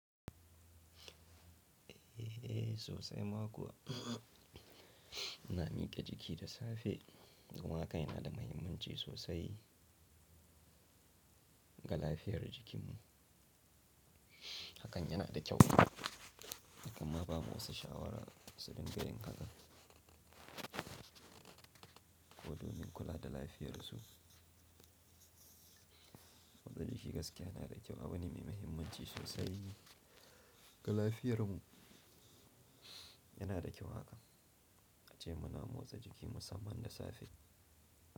Eh sosai ma kuwa. Na mike jiki da safe domin hakan yana da muhimmanci sosai ga lafiyar jikinmu. Hakan yana da kyau, kuma ba wasu shawara su dinga yin haka. Ko domin kula da lafiyarsu. Motsa jiki gaskiya yana da kyau. Abune mai muhimmanci sosai ga lafiyarmu. Yana da kyau haka, ace muna motsa jiki musamman da safe.